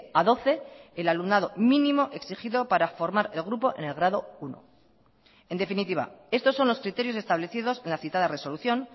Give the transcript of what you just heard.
a doce el alumnado mínimo exigido para formar el grupo en el grado uno en definitiva estos son los criterios establecidos en la citada resolución